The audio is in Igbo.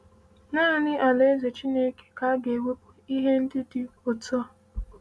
“Naanị Alaeze Chineke ka ga-ewepụ ihe ndị dị otú a.”